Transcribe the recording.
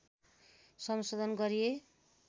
संशोधन गरिए